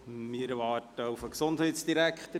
Wir warten auf den Gesundheitsdirektor.